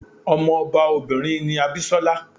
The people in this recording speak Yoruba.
Ọmọ ọba obìnrin ni Abisola.